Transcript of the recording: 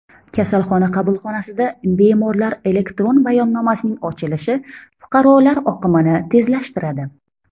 Kasalxona qabulxonasida bemorlar elektron bayonnomasining ochilishi fuqarolar oqimini tezlashtiradi.